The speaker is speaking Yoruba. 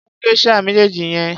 Mú geisha méjèèjì yẹn.